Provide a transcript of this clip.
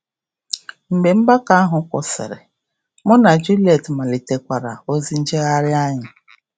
Mgbe mgbakọ ahụ gwụsịrị, mụ na Julie malitekwara ozi njegharị anyị.